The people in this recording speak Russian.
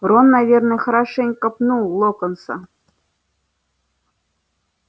рон наверное хорошенько пнул локонса